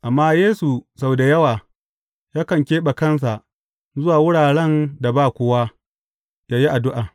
Amma Yesu sau da yawa, yakan keɓe kansa zuwa wuraren da ba kowa, yă yi addu’a.